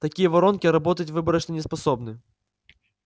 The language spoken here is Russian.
такие воронки работать выборочно не способны